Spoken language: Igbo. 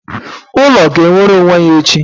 ulo ga-enwere onwe ya echi